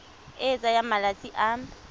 e e tsayang malatsi a